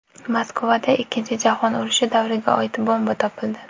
Moskvada Ikkinchi jahon urushi davriga oid bomba topildi.